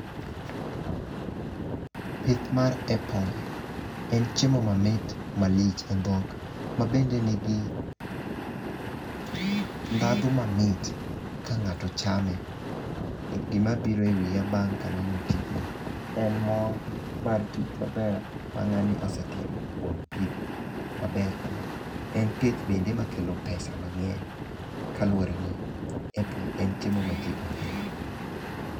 Pith mar apple en chiemo mamit malich e dhok mabende nigi ndhadhu mamit ka ng'ato chame .Gima biro e wiya bang' kaneno tijni en mor mar tich maber ma ng'ani osetimo kuom pith maber kama .En pith bende mekelo pesa mang'eny kaluwore ni apples en chiemo ma jii ohero.